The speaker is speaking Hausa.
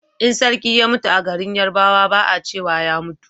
in sarki ya mutu a garin yarbawa ba a cewa ya mutu